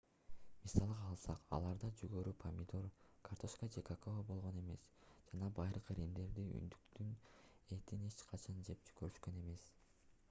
мисалга алсак аларда жүгөрү помидор картөшкө же какао болгон эмес жана байыркы римдиктер үндүктүн этин эч качан жеп көрүшкөн эмес